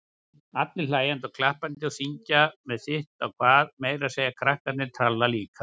Allir hlæjandi og klappandi, syngja með sitt á hvað, meira að segja krakkarnir tralla líka.